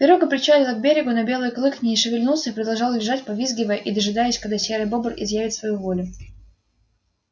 пирога причалила к берегу но белый клык не шевельнулся и продолжал лежать повизгивая и дожидаясь когда серый бобр изъявит свою волю